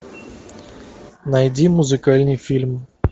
найди музыкальный фильм